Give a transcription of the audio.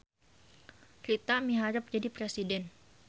Rita miharep jadi presiden